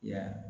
Ya